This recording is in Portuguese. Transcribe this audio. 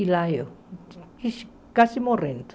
E lá eu, ixe quase morrendo.